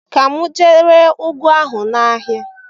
Ka m gaa ree ụgụ ahụ n'ahịa.